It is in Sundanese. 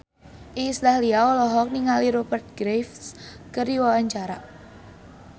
Iis Dahlia olohok ningali Rupert Graves keur diwawancara